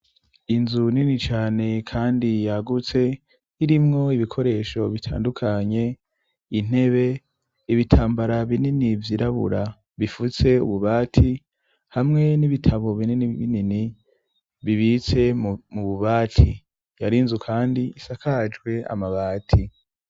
Inzu nini cane kandi yagutse; irimwo ibikoresho bitandukanye : intebe ibitambara binini vyirabura bifutse ububati, hamwe n'ibitabo binini binini bibitse mu bubati ; yari inzu kandi isakajwe amabati.